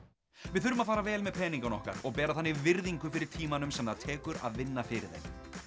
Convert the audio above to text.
við þurfum að fara vel með peningana okkar og bera þannig virðingu fyrir tímanum sem það tekur að vinna fyrir þeim